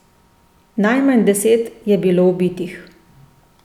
Najmanj deset je bilo ubitih.